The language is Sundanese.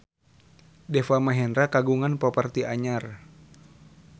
Deva Mahendra kagungan properti anyar